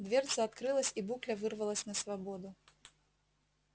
дверца открылась и букля вырвалась на свободу